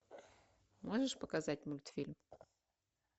можешь показать мультфильм